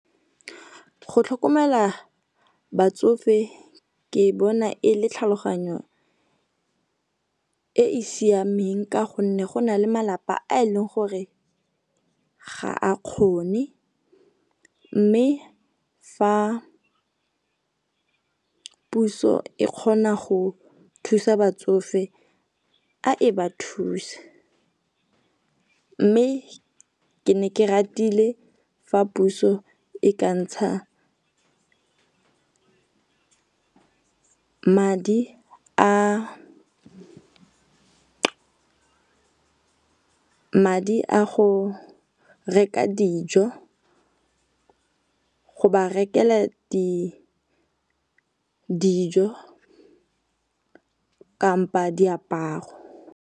Go tlhokomela batsofe ke bona e le tlhaloganyo e e siameng, ka gonne go na le malapa a e leng gore ga a kgone mme fa puso e kgona go thusa batsofe a e ba thuse. Mme ke ne ke ratile fa puso e ka ntsha madi a go reka dijo, go ba rekelwa dijo kampo a diaparo.